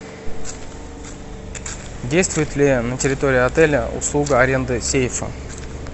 действует ли на территории отеля услуга аренды сейфа